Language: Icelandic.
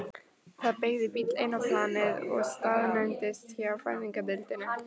Það beygði bíll inn á planið og staðnæmdist hjá fæðingardeildinni.